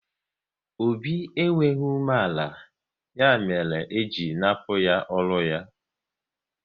Obi enweghị umeala, ya mere e ji nnapu ya ọrụ ya